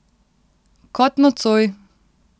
Kot nocoj!